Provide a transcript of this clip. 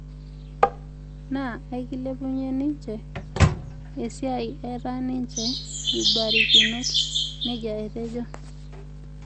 Naa aikilepunye ninje esiai eeta ninje ibarakinot," neejia etejo